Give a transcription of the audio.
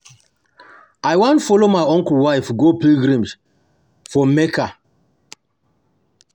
I wan follow my uncle wife go pilgrimage for Mecca